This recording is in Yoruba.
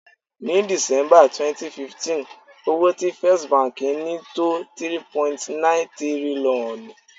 Ni December 2015, owó tí First Bank ni tó 3.9 tírílọ́ọ̀nù.